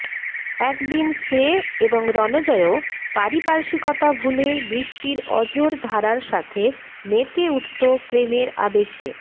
একদিন সে এবং রণজয়ও পারিপার্শ্বিকতা ভুলে বৃষ্টির অঝোর ধারার সাথে মেতে উঠত প্রেমের আবেশে